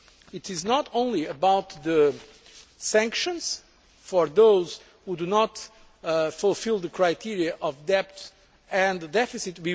TIF. It is not only about sanctions for those who do not fulfil the criteria of depth and the deficit.